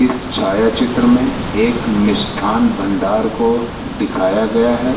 इस छायाचित्र में एक मिष्ठान भंडार को दिखाया गया है।